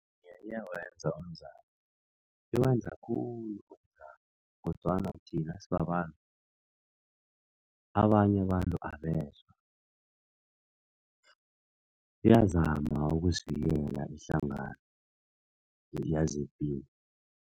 Iyawenza umzamo, iwenza khulu kodwana thina sibabantu, abanye abantu abezwa. Iyazama ukusivikela ihlangano yezepilo.